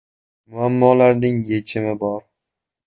Muammolarning yechimi bor!